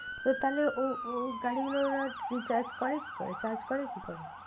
তো তাহলে ও ও গাড়ি গুলোর আর recharge করে কি করে? charge করে কি করে?